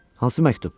Hansı məktub?